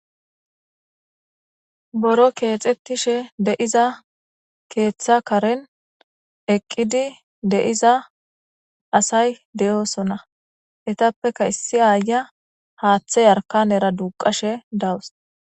Boro keexxettishe de'iza keeththa karen eqqidi de'iza asay de'oosona etappeka issi aaya haaththe yarkanera duuqashe dawus.